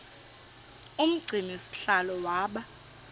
umgcini sihlalo waba